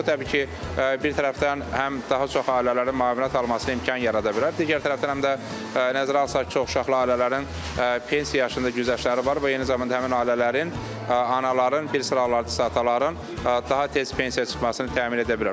Bu təbii ki, bir tərəfdən həm daha çox ailələrin müavinət almasına imkan yarada bilər, digər tərəfdən həm də nəzərə alsaq ki, çoxuşaqlı ailələrin pensiya yaşında güzəştləri var və eyni zamanda həmin ailələrin anaların bir sıra analar sadə ataların daha tez pensiyaya çıxmasını təmin edə bilər.